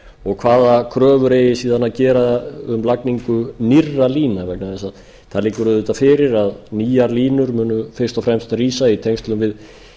og hvaða kröfur eigi síðan að gera um lagningu nýrra lína vegna þess að það liggur auðvitað fyrir að nýjar línu munu fyrst og fremst rísa í tengslum við